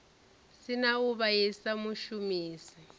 si na u vhaisa mushumisi